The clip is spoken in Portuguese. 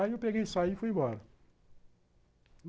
Aí eu peguei e saí e fui embora.